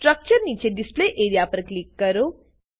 structure નીચે display A R E A પર click કરો